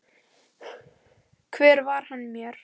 Hver var hann mér?